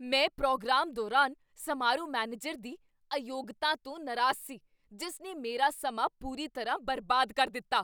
ਮੈਂ ਪ੍ਰੋਗਰਾਮ ਦੌਰਾਨ ਸਮਾਰੋਹ ਮੈਨੇਜਰ ਦੀ ਅਯੋਗਤਾ ਤੋਂ ਨਾਰਾਜ਼ ਸੀ ਜਿਸ ਨੇ ਮੇਰਾ ਸਮਾਂ ਪੂਰੀ ਤਰ੍ਹਾਂ ਬਰਬਾਦ ਕਰ ਦਿੱਤਾ।